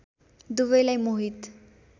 दुवैलाई मोहित